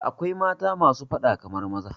Da akwai mata masu fada kamar maza